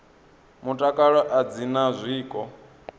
mutakalo a dzi na zwiko